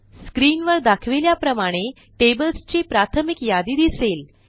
screen वर दाखविल्याप्रमाणे tablesची प्राथमिक यादी दिसेल